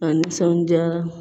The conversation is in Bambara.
A nisɔndiyara